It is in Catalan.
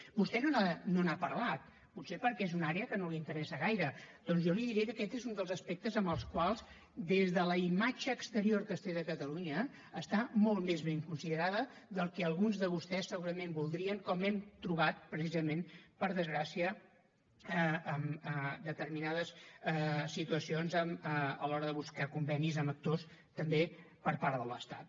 vostè no n’ha parlat potser perquè és una àrea que no l’interessa gaire doncs jo li diré que aquest és un dels aspectes amb els quals des de la imatge exterior que es té de catalunya està molt més ben considerada del que alguns de vostès segurament voldrien com hem trobat precisament per desgràcia en determinades situacions a l’hora de buscar convenis amb actors també per part de l’estat